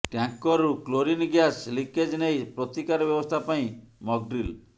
ଟ୍ୟାଙ୍କରରୁ chlorine gas leakage ନେଇ ପ୍ରତିକାର ବ୍ୟବସ୍ଥା ପାଇଁ ମକଡ୍ରିଲ